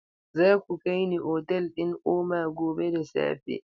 Za ku kai ni otal ɗin Oma gobe da safe.